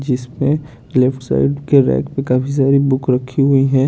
जिसमे left side के right में काफी सारी बुक रखी हुई है।